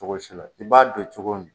Cogo si la i b'a don cogo min